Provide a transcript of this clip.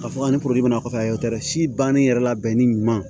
Ka fɔ an si bannen yɛrɛ labɛnni ɲuman